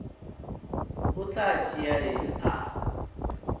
o tla tšea eng a